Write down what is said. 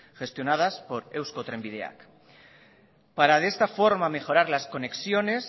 gestionadas por eusko trenbideak para de esta forma mejorar las conexiones